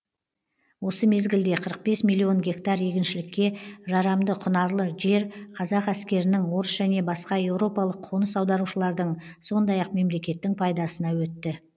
осы мезгілде қырық бес миллион гектар егіншілікке жарамды құнарлы жер қазақ әскерінің орыс және баска еуропалық қоныс аударушылардың сондай ақ мемлекеттің пайдасына өтті